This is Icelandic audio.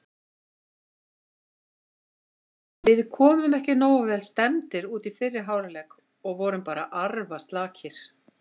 Við komum ekki nógu vel stemmdir út í fyrri hálfleik og vorum bara arfaslakir.